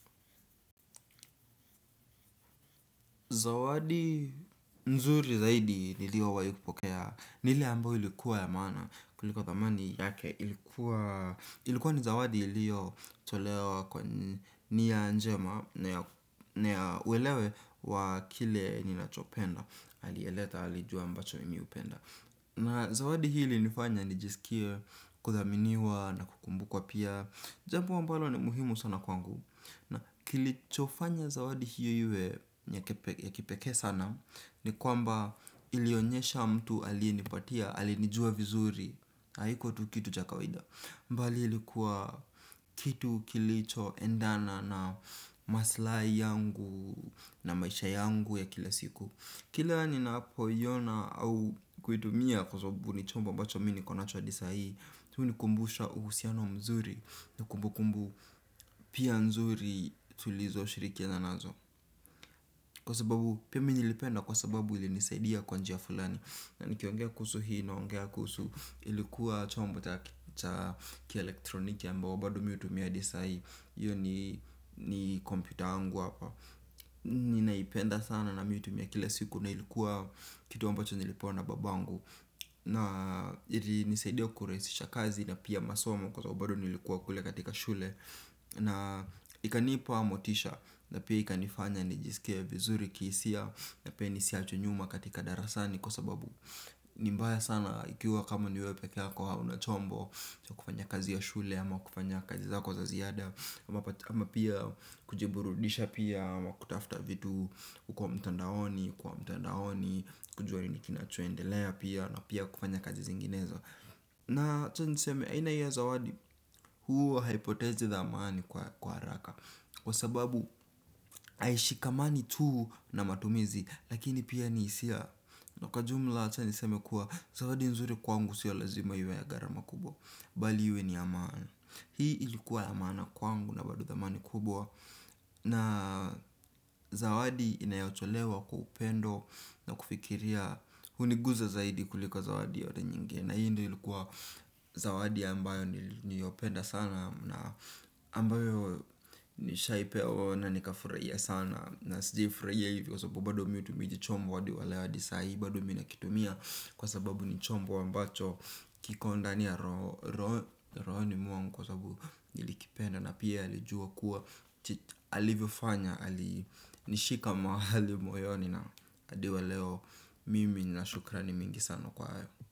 Zawadi nzuri zaidi nilio wahi kupokea, ni ile ambayo ilikuwa ya maana, kuliko thamani yake ilikuwa, ilikuwa ni zawadi ilio tolewa kwa nia njema, ni ya uelewe kuwa kile ninachopenda, aliyeleta, alijua ambacho mimi hupenda. Na zawadi hii ilinifanya nijisikie, kuthaminiwa na kukumbukwa pia. Jambo ambalo ni muhimu sana kwangu. Na kilicho fanya zawadi hiyo iwe ya kipekee sana. Ni kwamba ilionyesha mtu aliyenipatia, alinijua vizuri haikua tu kitu cha kawaida. Mbali ilikuwa kitu kilicho endana na maslai yangu na maisha yangu ya kila siku. Kila ninapo iona au kuitumia kwa sababu ni chombo ambacho mimi niko nacho adi sai hunikumbusha uhusiano mzuri na kumbu kumbu pia nzuri tulizo shirikiana nazo. Kwa sababu pia mimi nilipenda kwa sababu ilinisaidia kwa njia fulani. Na nikiongea kuhusu hii naongea kuhusu ilikuwa chombo cha kielektroniki ambao bado mimi hutumia adi sai hiyo ni kompyuta yangu hapa. Ninaipenda sana na mimi huitumia kila siku na ilikuwa kitu ambacho nilipewa na babangu. Na ili nisaidia kurahisisha kazi na pia masomo kwa sababu bado nilikuwa kule katika shule. Mbali ilikuwa kitu kilicho endana na maslai yangu na maisha yangu ya kila siku. Kila ninapo iona au kuitumia kwa sababu ni chombo ambacho mimi niko nacho adi sai hunikumbusha uhusiano mzuri na kumbu kumbu. Nimbaya sana ikiwa kama niwewe pekee yako hauna chombo cha kufanya kazi ya shule ama kufanya kazi zako za ziada. Ama pia kujiburudisha pia. Ama kutafuta vitu uko mtandaoni. Kujua ninikinacho endelea pia. Na pia kufanya kazi zinginezo na acha niseme. Aina hii ya zawadi. Huwa haipotezi dhamani kwa haraka kwa sababu haishikamani tuu na matumizi. Lakini pia ni hisia. Na kwa jumla acha niseme kuwa zawadi nzuri kwangu siyo lazima iwe ya gharama kubwa. Bali iwe ni ya maana. Hii ilikuwa ya maana kwangu. Na bado dhamani kubwa na zawadi inayotolewa kwa upendo na kufikiria. Huniguza zaidi kuliko zawadi yoyote nyingine. Na hii ndio ilikuwa zawadi ambayo niliyopenda sana. Na ambayo nishaipewa na nika furahia sana. Na sijiwai furahia hivo kwa sababu bado mimi hutumia hijichombo hadi waleo hadi sahi bado mimi nakitumia. Kwa sababu ni chombo ambacho kikondani ya rohoni mwangu kwa sababu nili kipenda na pia alijua kuwa alivyo fanya nishika mahali moyoni. Na adi wa leo. Mimi nina shukrani mingi sana kwa hayo.